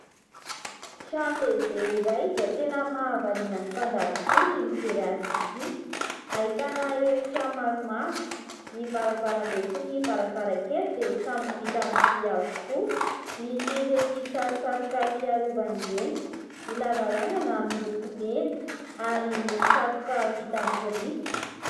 Trano lehibe iray izay tena mahavariana ny mpandalo tokoa ny mijery azy ity. Ahitana efitra maromaro ny varavaram-be sy ny varavarankely dia samy vita amin'ny vy avokoa, misy ireny tsatotsatoka fiarovan' ireny ny lavarangana miloko mena ary misy tsatoka vita amin'ny biriky.